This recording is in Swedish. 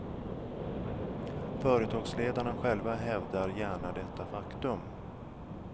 Företagsledarna själva hävdar gärna detta faktum.